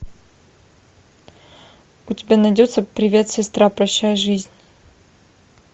у тебя найдется привет сестра прощай жизнь